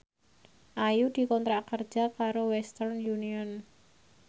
Ayu dikontrak kerja karo Western Union